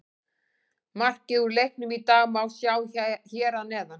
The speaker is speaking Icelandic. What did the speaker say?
Markið úr leiknum í dag má sjá hér að neðan